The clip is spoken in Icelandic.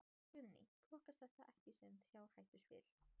Guðný: Flokkast þetta ekki sem fjárhættuspil?